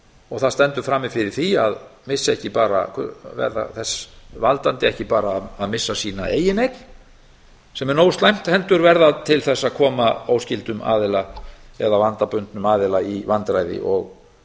og það stendur frammi fyrir því að verða þess valdandi ekki bara að missa sína eigin eign sem er nógu slæmt heldur verða til þess að koma óskyldum aðila eða vandabundnum aðila í vandræði og